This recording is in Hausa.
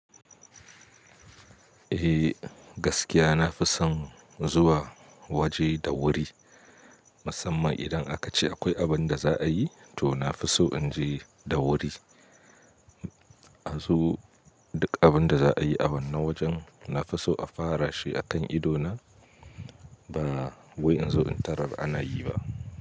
Eh gaskiya nafi son zuwa waje da wuri, musamman idan aka ce akwai abin da za'a yi to nafison in je da wuri. A zu duk abin da za'a yi a wannan wajen nafiso a fara shi akan idona ba wai in zo in tarar ana yi ba.